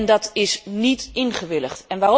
Dat is niet ingewilligd.